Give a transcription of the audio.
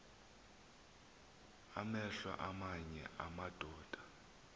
amehlo aamanye amadoda